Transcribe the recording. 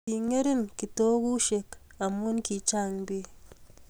ki ng'eringen kitokusiek amu ki chang' biik